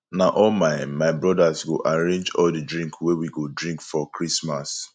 na all my my brodas go arrange all di drink wey we go drink for christmas